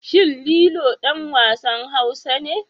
Shin Lilo ɗan wasan Hausa ne?